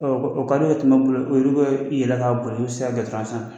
Ɔ ka di e ye tuma min i bolo o olu bɛ yɛlɛ k'a boli u bɛ siran se sanfɛ